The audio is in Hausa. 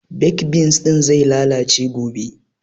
Baked beans ɗin zai lalace gobe